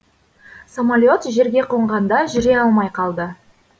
самолет жерге қонғанда жүре алмай қалды